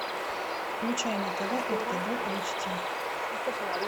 включай на тв ртд эйч ди